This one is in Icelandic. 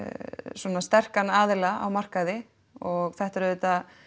svona sterkan aðila á markaði og þetta er auðvitað